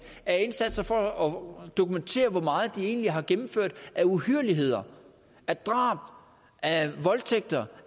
af indsatser for at dokumentere hvor meget de egentlig har gennemført af uhyrligheder af drab af voldtægter